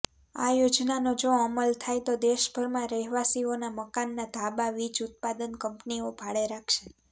આ યોજનાનો જો અમલ થાય તો દેશભરમાં રહેવાસીઓનાં મકાનનાં ધાબાં વીજ ઉત્પાદન કંપનીઓ ભાડે રાખશે